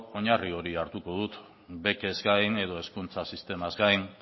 oinarri hori hartuko dut bekez gain edo hezkuntza sistemaz gain